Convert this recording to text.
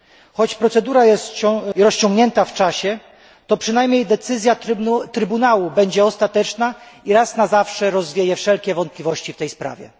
Choć procedura jest rozciągnięta w czasie, to przynajmniej decyzja Trybunału będzie ostateczna i raz na zawsze rozwieje wszelkie wątpliwości w tej sprawie.